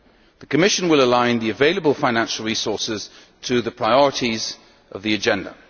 The Commission will align the available financial resources to the priorities of the agenda.